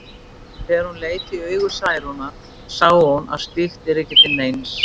En þegar hún leit í augu Særúnar sá hún að slíkt yrði ekki til neins.